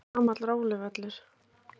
Þetta er gamall róluvöllur.